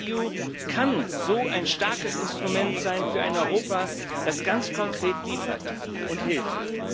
rescEU kann so ein starkes Instrument sein für ein Europa, das ganz konkret liefert und hilft.